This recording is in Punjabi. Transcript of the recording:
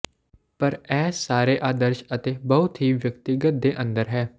ਪਰ ਇਹ ਸਾਰੇ ਆਦਰਸ਼ ਅਤੇ ਬਹੁਤ ਹੀ ਵਿਅਕਤੀਗਤ ਦੇ ਅੰਦਰ ਹੈ